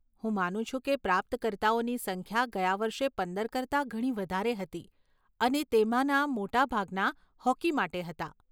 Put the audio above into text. હું માનું છું કે પ્રાપ્તકર્તાઓની સંખ્યા ગયા વર્ષે પંદર કરતાં ઘણી વધારે હતી અને તેમાંના મોટાભાગના હોકી માટે હતા.